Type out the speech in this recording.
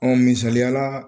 misaliya la